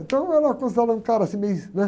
Então eu era considerado um cara, assim, meio, né?